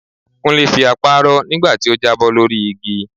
Kúnlé fi apá rọ́ nígbà tó jábọ́ lórí igi